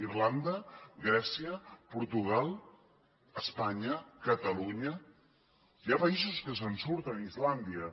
irlanda grècia portugal espanya catalunya hi ha països que se’n surten islàndia